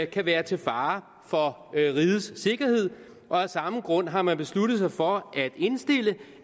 kan være til fare for rigets sikkerhed og af samme grund har man besluttet sig for at indstille